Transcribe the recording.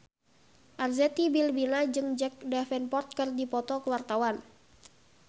Arzetti Bilbina jeung Jack Davenport keur dipoto ku wartawan